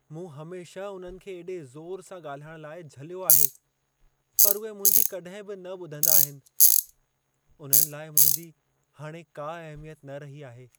मूं हमेशह उन्हनि खे एॾे ज़ोर सां ॻाल्हाइण लाइ झलियो आहे, पर उहे मुंहिंजी कॾहिं बि न ॿुधंदा आहिन। उन्हनि लाइ मुंहिंजी हाणे का अहमियत न रही आहे।